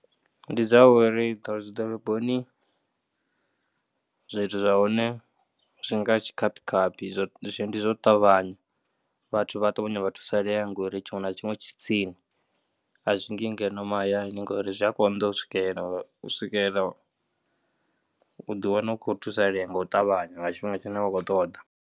Ndi dza uri dzi ḓoroboni zwithu zwa hone zwi nga tshikaphi kaphi, ndi zwo ṱavhanya. Vhathu vha a ṱavhanya vha thusalea ngori tshiṅwe na tshiṅwe tshi tsini a zwi ndi ngeno mahayani ngori zwi a konḓa u swikelela, u swikela u ḓiwana u khou thusalea nga u ṱavhanya nga tshifhinga tshine wa khou ṱoḓa.